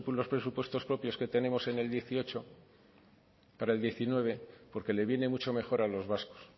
los presupuestos propios que tenemos en el dieciocho para el diecinueve porque le viene mucho mejor a los vascos